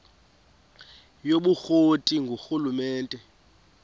yobukro ti ngurhulumente